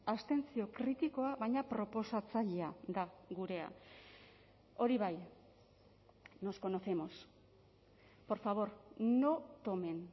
abstentzio kritikoa baina proposatzailea da gurea hori bai nos conocemos por favor no tomen